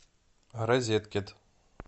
розеткед